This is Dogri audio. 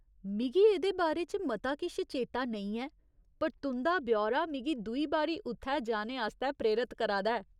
मिगी एह्‌दे बारै च मता किश चेता नेईं ऐ, पर तुं'दा ब्यौरा मिगी दुई बारी उत्थै जाने आस्तै प्रेरत करा दा ऐ।